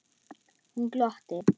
Hún glotti.